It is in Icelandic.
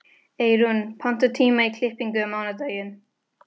Eyrún, pantaðu tíma í klippingu á mánudaginn.